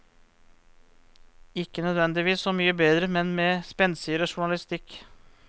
Ikke nødvendigvis så mye bedre, men med spenstigere journalistikk.